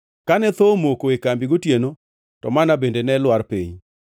Kane thoo omako kambi gotieno, to manna bende ne lwar piny.